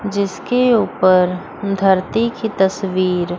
जिसके ऊपर धरती की तस्वीर--